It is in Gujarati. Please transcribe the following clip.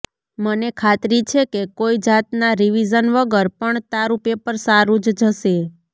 મને ખાતરી છે કે કોઈ જાતનાં રિવિઝન વગર પણ તારું પેપર સારું જ જશે